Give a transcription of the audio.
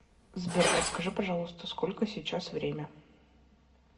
сбер подскажи пожалуйста сколько сейчас время